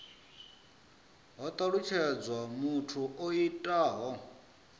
ho talutshedzwa muthu o itaho